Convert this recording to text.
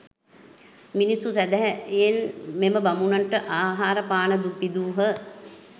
මිනිස්සු සැදැහැයෙන් මෙම බමුණනට ආහාර පාන පිදූහ.